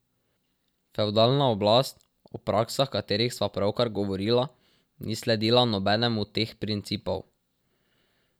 Fevdalna oblast, o praksah katerih sva pravkar govorila, ni sledila nobenemu teh principov.